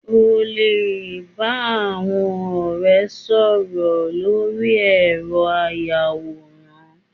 O lè bá àwọn ọ̀rẹ́ sọ̀rọ̀ lórí ẹ̀rọ ayàwòrán